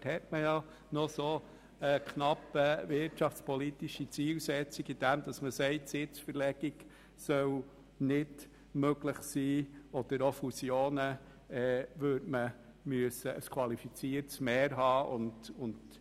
Damit hat man noch eine knappe wirtschaftspolitische Zielsetzung, weil eine Sitzverlegung oder auch Fusionen ohne qualifiziertes Mehr nicht möglich sind.